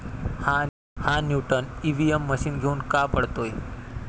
हा 'Newton' EVM machine घेऊन का पळतोय?